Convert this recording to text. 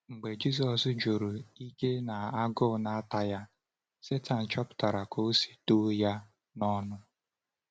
Mgbe Jisọs juru ike na agụụ na-ata ya, Sátan chọpụtara ka o si dọ ya n’ọnụ.